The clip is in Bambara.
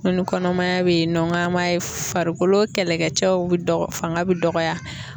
Ngo ni kɔnɔmaya be yen nɔ n g'an b'a ye farikolo kɛlɛkɛcɛw be dɔgɔ fanga be dɔgɔya